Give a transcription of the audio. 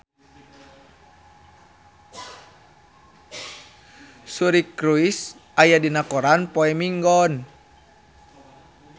Suri Cruise aya dina koran poe Minggon